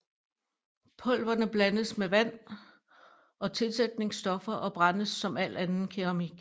Pulverne blandes med vand og tilsætningsstoffer og brændes som al anden keramik